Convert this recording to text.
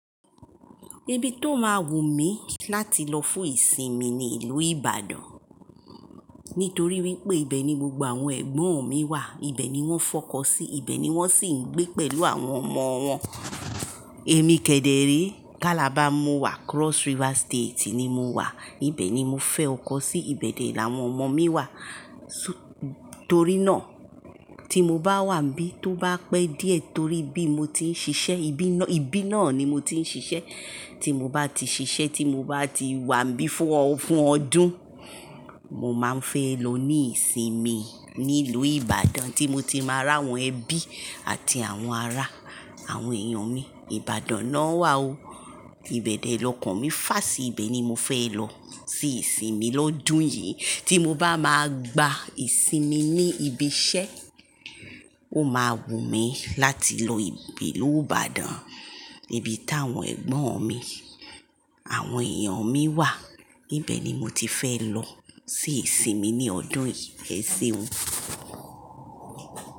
Ibi tó máa wù mí láti lọ fún ìsinmi ni ìlú Ìbàdàn. Nítorí wípé ibẹ̀ ni gbogbo àwọn ẹ̀gbọ́n mi wà, ibẹ̀ ni wón fẹ ọkọ sí, ibẹ̀ ni wón sì ń gbé pẹ̀lú àwọn ọmọ wọn. Èmi kẹdẹrẹe, cálabà mu wà Cross River State ni mo wà, ibẹ̀ ni mo fẹ́ ọkọ sí, ibẹ̀ ni àwọn ọmọ mi wà. Torí náà, tí mo bá wà níbí tó bá pẹ́ díẹ̀ torí ibi mo ti ń ṣiṣẹ́, ibi náà ni mo ti ń ṣiṣẹ́. Tí mo bá ti ṣiṣẹ́, tí mo bá ti wà níbí fún ọdún, mo máa ń fẹ́ lọ ní ìsinmi ní ìlú Ìbàdàn tí mo ti máa rà àwọn ẹbí àti àwọn ará àwọn èèyàn mi. Ìbàdàn náà wà ó, ìbẹ̀ dẹ lọ́kàn mi fà sí ibẹ̀ ni mo fẹ́ lọ sí ìsinmi lọ́dún yìí. Tí mo bá máa gba ìsinmi ní ibi iṣẹ́, ó máa wù mí láti lọ ìlú Ìbàdàn, ibi táwọn ẹ̀gbọ́n mi, àwọn èèyàn mi wà. Ibẹ̀ ni mo ti fẹ́ lọ sí ìsinmi ní ọdún yìí, ẹṣe o.